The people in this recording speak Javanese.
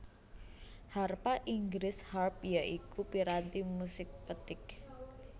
Harpa Inggris Harp ya iku piranti musik petik